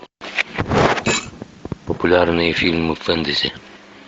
популярные фильмы фэнтези